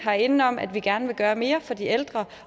er enige om at vi gerne vil gøre mere for de ældre